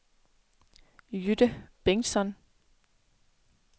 Jytte Bengtsson